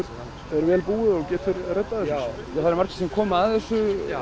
er vel búið og getur reddað þessu það eru margir sem koma að þessu